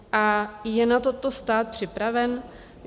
A je na toto stát připraven?